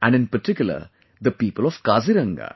and in particular, the people of Kaziranga